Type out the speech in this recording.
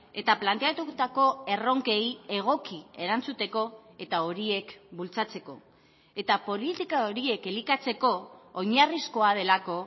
eta planteatutako erronkei egoki erantzuteko eta horiek bultzatzeko eta politika horiek elikatzeko oinarrizkoa delako